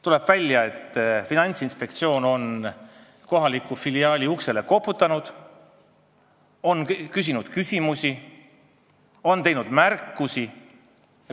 Tuleb välja, et Finantsinspektsioon on kohaliku filiaali uksele koputanud, on esitanud küsimusi, on teinud märkusi.